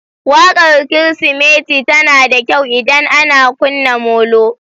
Waƙar Kirsimeti tana da kyau idan ana kunna molo.